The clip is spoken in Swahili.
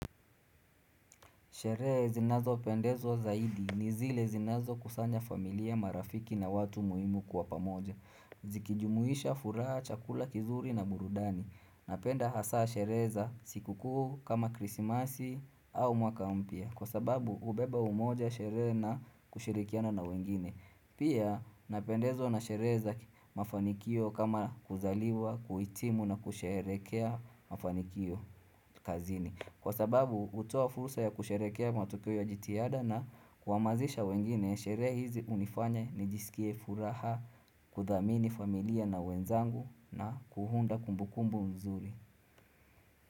Sheree zinazo pendezwa zaidi ni zile zinazo kusanya familia marafiki na watu muimu kwa pamoja Zikijumuisha furaha, chakula, kizuri na burudani Napenda hasa sherehe za siku kuu kama krisimasi au mwakampya Kwa sababu ubeba umoja sherehe na kushirikiana na wengine Pia napendezwa na sherehe za mafanikio kama kuzaliwa, kuitimu na kusherekea mafanikio kazini Kwa sababu utoa furusa ya kusherekea matukio ya jitiada na kuamazisha wengine ya sherehe hizi unifanya ni jisikie furaha kudhamini familia na wenzangu na kuunda kumbukumbu mzuri.